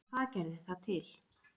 En hvað gerði það til?